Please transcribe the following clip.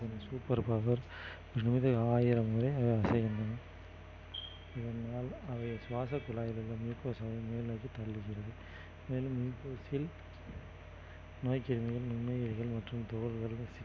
இந்த super power மீது ஆயிரம் இதனால் அவைகள் சுவாசக் குழாயிலுள்ள mucosa அதை மேல்நோக்கி தள்ளுகிறது மேலும் mucose ல் நோய் கிருமிகள் நுண்ணுயிர்கள் மற்றும் துகள்கள்